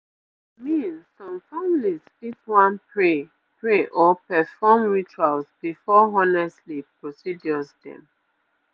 i mean some families fit wan pray pray or perform rituals before honestly procedures dem